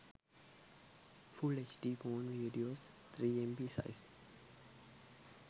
full hd phone videos 3mb size